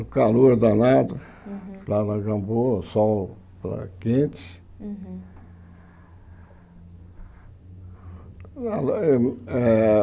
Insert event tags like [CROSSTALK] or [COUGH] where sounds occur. No calor danado, Uhum lá na Gamboa, sol lá quente. Uhum [UNINTELLIGIBLE] eh